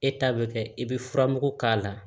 E ta bɛ kɛ i bɛ furamugu k'a la